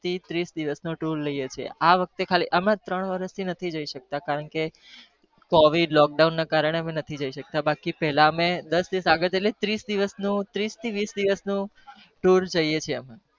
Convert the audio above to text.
ત્રીસ દિવસ નો tur જઈએ છીએ